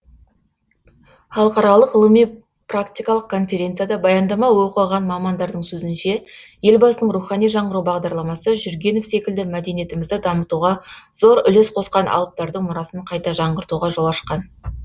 халықаралық ғылыми практикалық конференцияда баяндама оқыған мамандардың сөзінше елбасының рухани жаңғыру бағдарламасы жүргенов секілді мәдениетімізді дамытуға зор үлес қосқан алыптардың мұрасын қайта жаңғыртуға жол ашқан